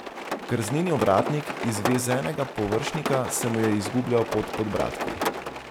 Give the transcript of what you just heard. Krzneni ovratnik izvezenega površnika se mu je izgubljal pod podbradki.